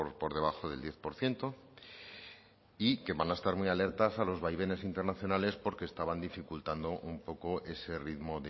por debajo del diez por ciento y que van a estar muy alertas a los vaivenes internacionales porque estaban dificultando un poco ese ritmo